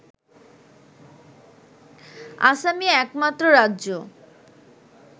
আসাম-ই একমাত্র রাজ্য